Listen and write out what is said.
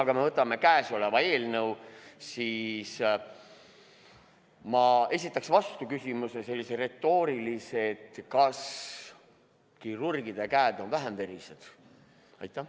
Kui me võtame aga kõnealuse eelnõu, siis ma esitaks vastu sellise retoorilise küsimuse: kas kirurgide käed on vähem verised?